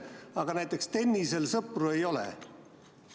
Aga näiteks tennisel valitsuses sõpru ei ole.